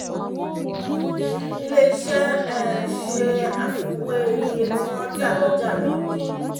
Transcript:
ilé iṣẹ́ um ṣe àfiwé iye tí wọ́n tà lọ́jà lónìí